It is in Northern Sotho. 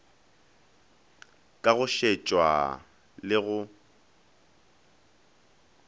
ka go šetša le go